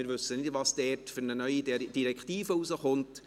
Wir wissen nicht, welche neue Direktive dort herausgegeben wird.